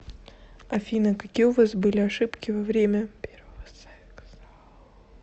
афина какие у вас были ошибки во время первого секса